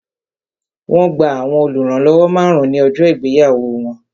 Wọn gba àwọn oluranlowo márùn-ún ní ọjọ́ ìgbéyàwó wọn